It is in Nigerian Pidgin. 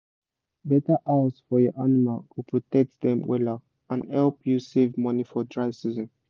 better house for your animal go protect dem wella and help u save money for dry season